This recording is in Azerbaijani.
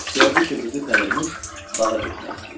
Gördü ki, qızı Pərinüş bağa getmək istəyir.